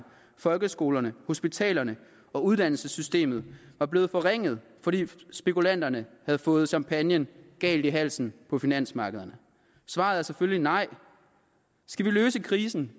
folkeskolerne hospitalerne og uddannelsessystemet var blevet forringet fordi spekulanterne havde fået champagnen galt i halsen på finansmarkederne svaret er selvfølgelig nej skal vi løse krisen